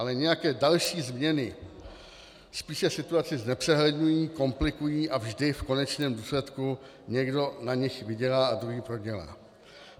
Ale nějaké další změny spíše situaci znepřehledňují, komplikují a vždy v konečném důsledku někdo na nich vydělá a druhý prodělá.